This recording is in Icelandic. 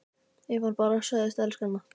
Ef hann bara segðist elska hana